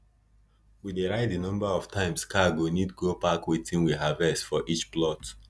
we dey write di number of times car go need go park wetin we harvest for each plot